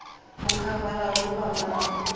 u khavara hu fhambana u